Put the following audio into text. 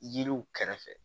Yiriw kɛrɛfɛ